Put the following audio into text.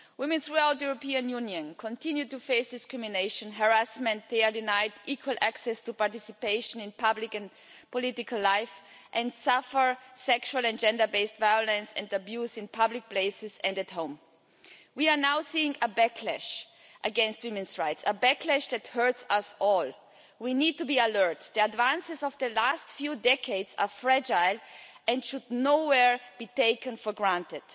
Women throughout the European Union continue to face discrimination, harassment, are denied equal access to participation in public and political life, and suffer sexual and gender based violence and abuse in public places and at home. We are now seeing a backlash against women's rights, a backlash that hurts us all. We need to be alert. The advances of the last few decades are fragile and should by no means be taken for granted.